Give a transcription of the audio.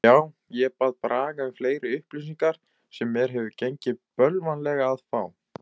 Já, ég bað Braga um fleiri upplýsingar sem mér hefur gengið bölvanlega að fá.